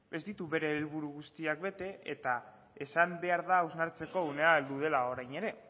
ez ditu bere helburu guztiak bete eta esan behar da hausnartzeko unea heldu dela orain ere